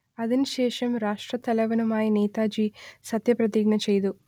അതിനുശേഷം രാഷ്ട്രത്തലവനായി നേതാജി സത്യപ്രതിജ്ഞ ചെയ്തു